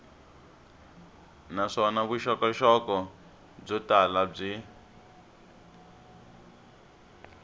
naswona vuxokoxoko byo tala byi